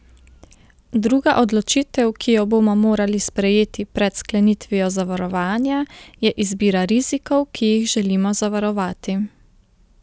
Druga odločitev, ki jo bomo morali sprejeti pred sklenitvijo zavarovanja, je izbira rizikov, ki jih želimo zavarovati.